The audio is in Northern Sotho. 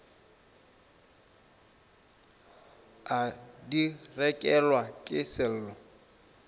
a di rekelwa ke sello